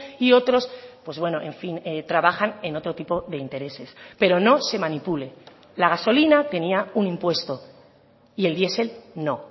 y otros pues bueno en fin trabajan en otro tipo de intereses pero no se manipule la gasolina tenía un impuesto y el diesel no